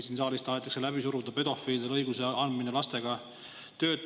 Siin saalis tahetakse läbi suruda lastega töötamise õiguse andmist pedofiilidele.